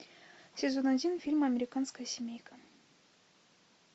сезон один фильм американская семейка